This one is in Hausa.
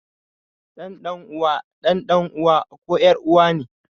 Ɗan ɗan uwa ɗan ɗan uwa ko ƴar uwa ne